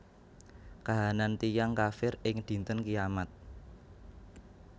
Kahanan tiyang kafir ing Dinten Kiamat